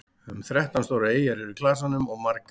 um þrettán stórar eyjar eru í klasanum og margar minni